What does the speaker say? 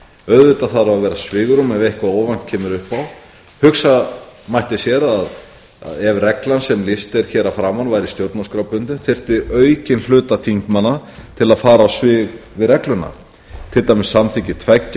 auðvitað þarf að vera svigrúm ef eitthvað óvænt kemur upp á hugsa mætti sér að ef reglan sem lýst er hér að framan væri stjórnarskrárbundin þyrfti aukinn hluta þingmanna til að fara á svig við regluna til dæmis að samþykki tveggja